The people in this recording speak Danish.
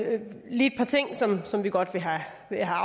lige et par ting som som vi godt vil have